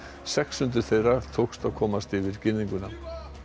sex hundruð þeirra tókst að komast yfir girðinguna